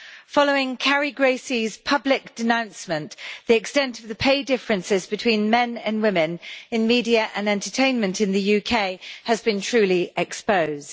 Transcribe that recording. Following Carrie Gracie's public denouncement, the extent of the pay differences between men and women in media and entertainment in the UK has been truly exposed.